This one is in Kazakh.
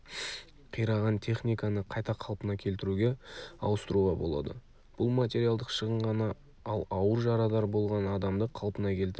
қираған техниканы қайта қалпына келтіруге ауыстыруға болады бұл материалдық шығын ғана ал ауыр жарадар болған адамды қалпына келтіре